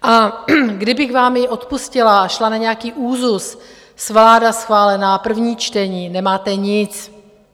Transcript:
A kdybych vám ji odpustila a šla na nějaký úzus, vláda schválená, první čtení - nemáte nic.